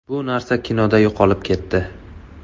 Bu narsa kinoda yo‘qolib ketdi.